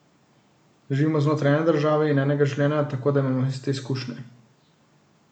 Živimo znotraj ene države in enega življenja, tako da imamo iste izkušnje.